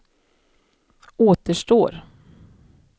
återstår